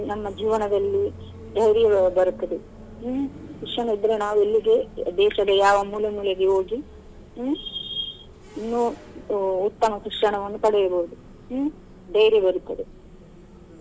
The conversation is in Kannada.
ನಮ್ಮ ಜೀವನದಲ್ಲಿ ಧೈರ್ಯ ಬರುತ್ತದೆ ಹ್ಮ್‌ ಶಿಕ್ಷಣ ಇದ್ರೆ ನಾವು ಎಲ್ಲಿಗೆ ದೇಶದ ಯಾವ ಮೂಲೆ ಮೂಲೆಗೆ ಹೋಗಿ ಹ್ಮ್‌ ಇನ್ನು ಉತ್ತಮ ಶಿಕ್ಷಣವನ್ನು ಪಡೆಯುದು ಹ್ಮ್‌ ಧೈರ್ಯ ಬರುತ್ತದೆ.